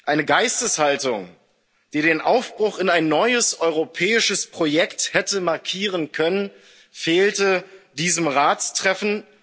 Eine Geisteshaltung, die den Aufbruch in ein neues europäisches Projekt hätte markieren können, fehlte diesem Ratstreffen